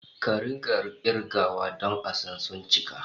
Ka rika kirgawa don a san suncika